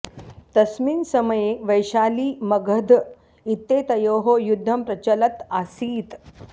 तस्मिन् समये वैशाली मगध इत्येतयोः युद्धं प्रचलत् आसीत्